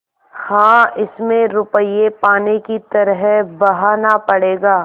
हाँ इसमें रुपये पानी की तरह बहाना पड़ेगा